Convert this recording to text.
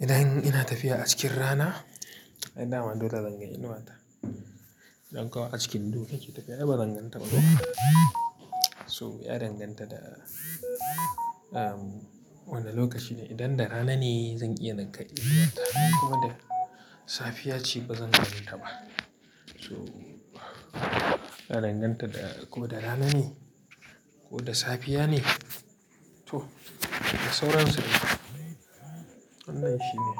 Idan ina tafiya a cikin rana, ai dama dole zanga inuwa ta, idan kuma a cikin duhu nike tafiya ai ba zan ganta ba Toh ya danganta da, wane lokaci ne, idan da rana ne zan iya naga inuwa ta, idan kuma da safiya ce ba zan ganin ta ba. Toh, ya danganta da ko da rana ne, ko da safiya ne. To, da sauran su dai, wannan shine.